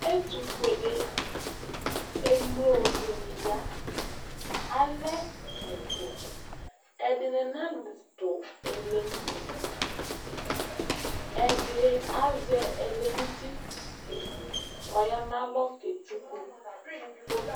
Ɛtʋfʋle emlo dini ya alɛ ɛtʋ ɛdini nadʋ ɛkɛ nʋ ʋti ɛdi azɛ ɛlɛnʋ ʋti kʋ aya nʋ alɔ ketsʋkʋ foto